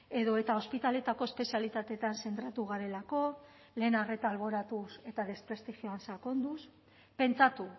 edota ospitaleetako espezialitateetan zentratu garelako lehen arreta alboratuz eta desprestigioan sakonduz pentsatu